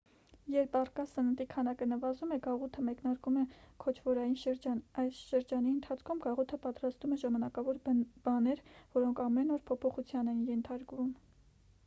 երբ առկա սննդի քանակը նվազում է գաղութը մեկնարկում է քոչվորային շրջան այս շրջանի ընթացքում գաղութը պատրաստում է ժամանակավոր բներ որոնք ամեն օր փոփոխության են ենթարկում